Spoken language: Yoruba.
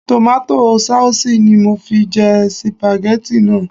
Tòmátò saùsì ni mo fi jẹ sìpàgẹ́tì náà